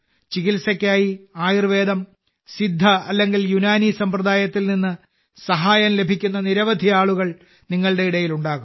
ചികിത്സയ്ക്കായി ആയുർവേദം സിദ്ധ അല്ലെങ്കിൽ യുനാനി സമ്പ്രദായത്തിൽ നിന്ന് സഹായം ലഭിക്കുന്ന നിരവധി ആളുകൾ നിങ്ങളുടെ ഇടയിൽ ഉണ്ടാകും